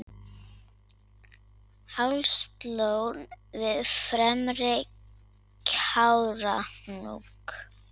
Hálslón við fremri Kárahnjúk.